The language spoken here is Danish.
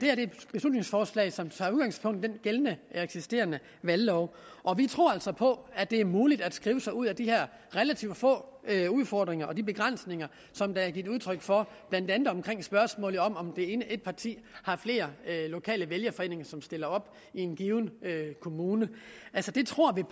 er et beslutningsforslag som tager udgangspunkt i den eksisterende valglov og vi tror altså på at det er muligt at skrive sig ud af de her relativt få udfordringer og begrænsninger som der er givet udtryk for blandt andet i spørgsmålet om om et parti har flere lokale vælgerforeninger som stiller op i en given kommune vi tror